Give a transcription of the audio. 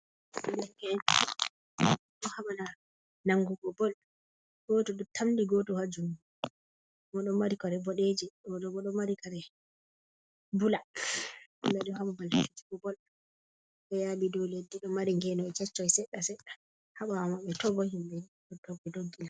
Derke, en ɓeɗo haɓana nangugo bol. Goto ɗo tamndi goto ha juɗe, oɗo mari kare boɗeje oɗo boɗo marikare bula. Ɓaɗo ha babal fijugo bol, ɗo yaɓi dow leddi. Ɗo mari ngenoy keccoi seɗɗa seɗɗa haɓawo maɓbe to bo himɓe ɗo doggi doggina.